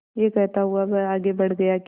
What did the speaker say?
यह कहता हुआ वह आगे बढ़ गया कि